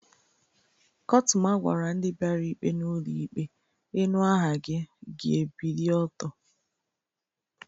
Kọtụma gwara ndị biara ikpe n'ụlọ ikpe, "inu aha gi, gi ebilie ọtọ"